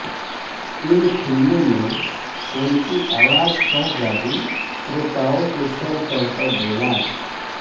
इन फिल्मों में उनकी आवाज का जादू श्रोताओ के सर चढ़कर बोला